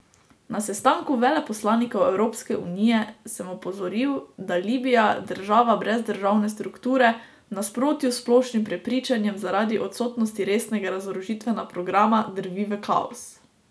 Na sestanku veleposlanikov Evropske unije sem opozoril, da Libija, država brez državne strukture, v nasprotju s splošnim prepričanjem zaradi odsotnosti resnega razorožitvenega programa drvi v kaos.